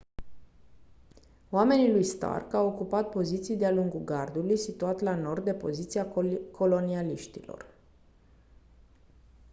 oamenii lui stark au ocupat poziții de-a lungul gardului situat la nord de poziția colonialiștilor